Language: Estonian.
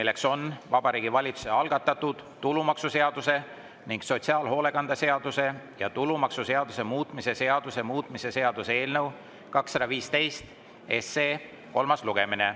See on Vabariigi Valitsuse algatatud tulumaksuseaduse ning sotsiaalhoolekande seaduse ja tulumaksuseaduse muutmise seaduse muutmise seaduse eelnõu 215 kolmas lugemine.